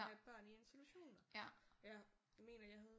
At have børn i institutioner ja jeg mener jeg havde